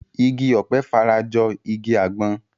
Igi ọ̀pẹ fara jọ igi àgbọn